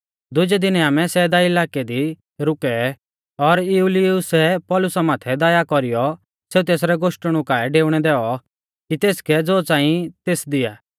दुजै दिनै आमै सैदा इलाकै दी रुकै और यूलियुसै पौलुसा माथै दया कौरीयौ सेऊ तेसरै गोष्टणु काऐ डेउणै दैऔ कि तेसकै ज़ो च़ांई तेस दिया